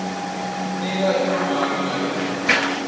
nika emamaki ngalendlela